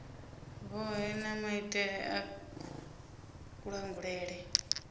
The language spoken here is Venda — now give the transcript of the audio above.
vhohe na maitele a kulangulele